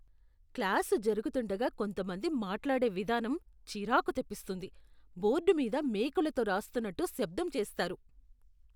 Class జరుగుతుండగా కొంత మంది మాట్లాడే విధానం చిరాకు తెప్పిస్తుంది, బోర్డు మీద మేకులతో రాస్తున్నట్టు శబ్దం చేస్తారు.